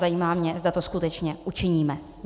Zajímá mě, zda to skutečně učiníme.